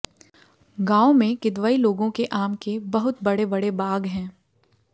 गाँव मे किदवई लोगों के आम के बहुत बड़े बड़े बड़े बाग हैं